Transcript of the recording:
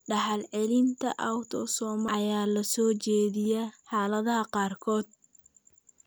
Dhaxal-celinta autosomal ayaa la soo jeediyay xaaladaha qaarkood.